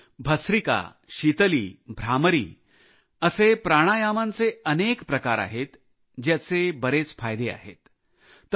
परंतु भस्त्रिका शीतली भ्रामरी असे प्राणायामचे अनेक प्रकार आहेत ज्याचे बरेच फायदे आहेत